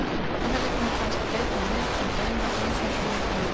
En það liggur nú kannski beinna við að beina grunsemdum ykkar annað.